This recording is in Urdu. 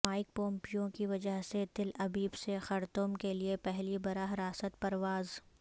مائیک پومپیو کی وجہ سے تل ابیب سے خرطوم کیلئے پہلی براہ راست پرواز